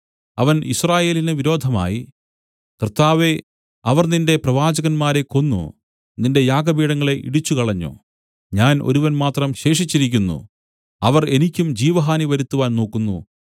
അവൻ യിസ്രായേലിന് വിരോധമായി കർത്താവേ അവർ നിന്റെ പ്രവാചകന്മാരെ കൊന്നു നിന്റെ യാഗപീഠങ്ങളെ ഇടിച്ചുകളഞ്ഞു ഞാൻ ഒരുവൻ മാത്രം ശേഷിച്ചിരിക്കുന്നു അവർ എനിക്കും ജീവഹാനി വരുത്തുവാൻ നോക്കുന്നു